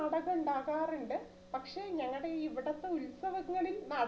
നാടകം ഉണ്ടാകാറുണ്ട് പക്ഷേ ഞങ്ങടെ ഈ ഇവിടെ ഇപ്പം ഉത്സവങ്ങളിൽ മാ